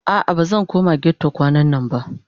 A'a bazan koma ghetto kwanannan ba